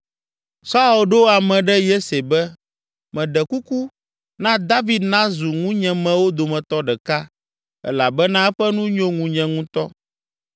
Saul ɖo ame ɖe Yese be, “Meɖe kuku, na David nazu ŋunyemewo dometɔ ɖeka elabena eƒe nu nyo ŋunye ŋutɔ.”